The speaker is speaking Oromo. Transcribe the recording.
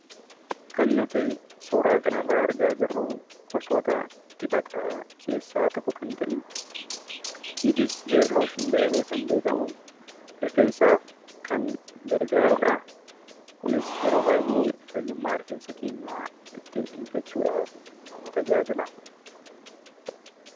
Kan nuti suuraa kanarraa argaa jirru gosoota dibataa keessaa tokko kan ta'e ''kids hair lotion" jedhamee kan beekamu rifeensaaf kan gargaarudha. Kunis yeroo baay'ee fayyummaa rifeensa keenyaa ittiin eeggachuudhaaf tajaajila.